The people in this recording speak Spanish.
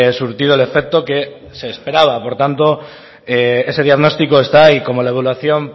surtido el efecto que se esperaba por tanto ese diagnostico está ahí y como la evaluación